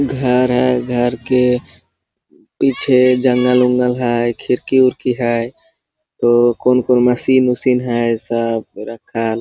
घर है घर के पीछे जंगल वुंगल है खिड़की विडकी है और कोन कोन मशीन वशिन है ये सब रखल।